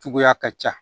Cogoya ka ca